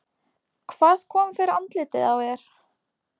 Hvað kom fyrir andlitið á þér?